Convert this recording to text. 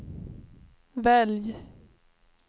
välj